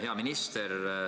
Hea minister!